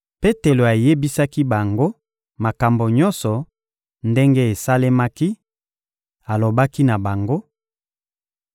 Petelo ayebisaki bango makambo nyonso, ndenge esalemaki; alobaki na bango: